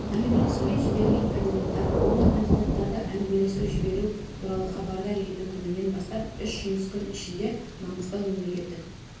әңгімелесуге жіберілген кандидаттар оны кандидаттарды әңгімелесу жіберу туралы хабардар ету күнінен бастап үш жұмыс күн ішінде маңғыстау мемлекеттік